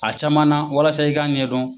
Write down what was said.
A caman na walasa i k'a ɲɛdɔn.